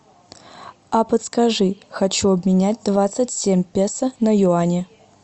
а подскажи хочу обменять двадцать семь песо на юани